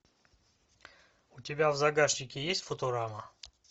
у тебя в загашнике есть футурама